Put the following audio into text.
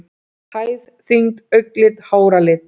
Hæð, þyngd, augnlit, háralit.